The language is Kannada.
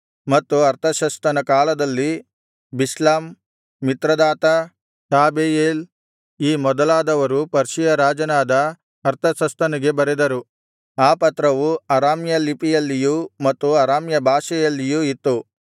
ಮತ್ತು ಅರ್ತಷಸ್ತನ ಕಾಲದಲ್ಲಿ ಬಿಷ್ಲಾಮ್ ಮಿತ್ರದಾತ ಟಾಬೆಯೇಲ್ ಈ ಮೊದಲಾದವರು ಪರ್ಷಿಯ ರಾಜನಾದ ಅರ್ತಷಸ್ತನಿಗೆ ಬರೆದರು ಆ ಪತ್ರವು ಅರಾಮ್ಯ ಲಿಪಿಯಲ್ಲಿಯೂ ಮತ್ತು ಅರಾಮ್ಯ ಭಾಷೆಯಲ್ಲಿಯೂ ಇತ್ತು